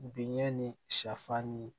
Binɲɛ ni sɛfan ni